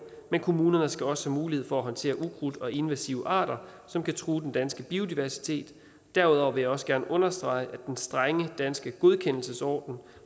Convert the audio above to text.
men kommunerne skal også have mulighed for at håndtere ukrudt og invasive arter som kan true den danske biodiversitet derudover vil jeg også gerne understrege at den strenge danske godkendelsesordning